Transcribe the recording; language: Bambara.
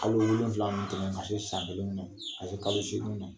Hali wu wolonwula mun tɛmɛ ka se san kelen na, ka se kalo seginw na